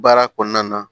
Baara kɔnɔna na